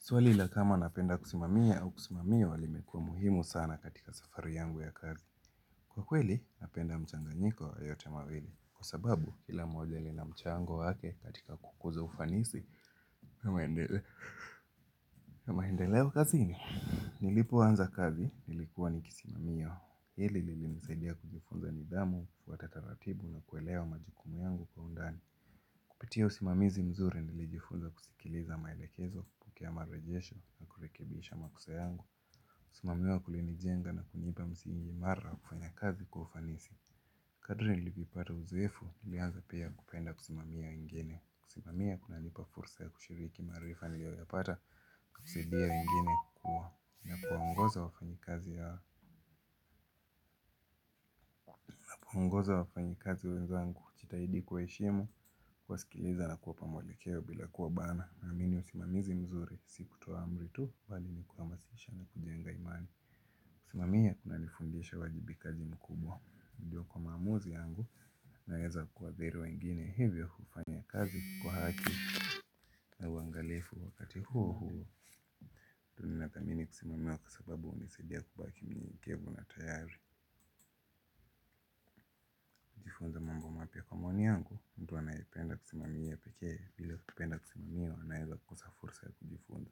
Swali la kama napenda kusimamia au kusimamiwa limekua muhimu sana katika safari yangu ya kazi. Kwa kweli, napenda mchanganyiko wayote mawili. Kwa sababu, kila moja lina mchango wake katika kukuza ufanisi, na maendeleo kaziini. Nilipo anza kazi, nilikuwa nikisimamia. Hili lilinisaidia kujifunza ni dhamu, futatataratibu na kuelewa majukumu yangu kwa undani. Kupitia usimamizi mzuri nilijifuza kusikiliza maelekezo kupokea mare jesho na kurekebiisha makosa yangu. Kusimamiwa kulinijenga na kunipa msiingi imara kufanya kazi kwaufanisi. Kadri nilipipata uzoefu nilianza pia kupenda kusimamia wengine. Kusimamia kuna nilipa fursa ya kushiriki maarifa niliyo ya pata kusidia wengine kukua na kuongoza wafanyikazi ya wa kuongoza wafanyikazi uwezo wangu kujitahidi kuwaheshimu kuwasikiliza na kuw pa mwelekeo bila kuwa bana. Naamini usimamizi mzuri, si kutoa amri tu, bali ni kuhamasisha na kujenga imani. Kusimamia kuna nifundisha uwajibikaji mkubwa. Ndiyo kwa maamuzi yangu, naeza kuwa veru wengine hivyo kufanya kazi kwa haki na uangalifu wakati huu huu nina thamini kusimamia kwasababu hunisaidia kubaki mnyenyekevu na tayari kujifunza mambo mapya kwa maoni yangu, mtu anayependa kusimamia peke bila kupenda kusimamiwa anaeza kosa fursa ya kujifunza.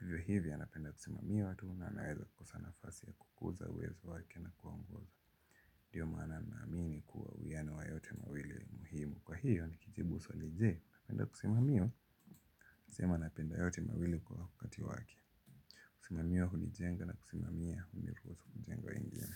Hivyo hivyo anapenda kusimamia watu na anaweza kosa nafasi ya kukuza uwezo wake na kuongoza. Dio mana naamini kuwa uwiano wa yote mawili ni muhimu. Kwa hiyo nikijibu swali je, unapenda kusimamiww njema anapenda yote mawili kwa wakati waki. Kusimamiwa hunijenga na kusimamia huniruhusu kujenga wengine.